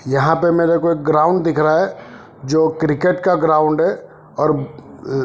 यहा पे मेरे को एक ग्राउंड दिख रहा है जो क्रिकेट का ग्राउंड है और अ--